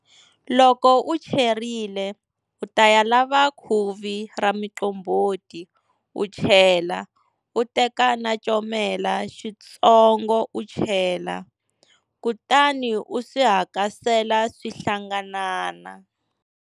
Loko u cherile u ta ya lava khuvi ra muqombhoti u chela u teka na comela xitsongo u chela, kutani u swi hakasela swi hlanganana.